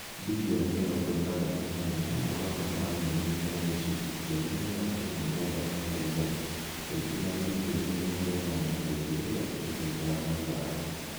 Birioni mĩrongo ĩtandatũ na inya .Mũgambo nĩ wanyihĩte na gĩcunjĩ kĩa inya gaturumo ithathatũ harĩ igana. ũgĩkinya birioni mĩrongo ĩnana na igere gaturumo ithano ithano.